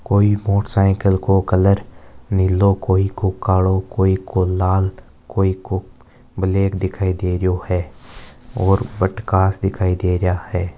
कोई मोटरसाइकिल को कलर नीलो कोई को कालो कोई को लाल कोई को ब्लैक(black) दिखाई दे रही हो है और बटे कांच दिखाई दे रिया है।